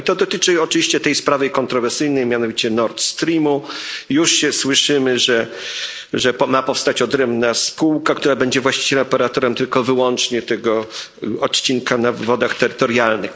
No i to dotyczy oczywiście tej sprawy kontrowersyjnej, mianowicie Nordstreamu. Już się słyszy, że ma powstać odrębna spółka, która będzie właściwie operatorem wyłącznie tego odcinka na wodach terytorialnych.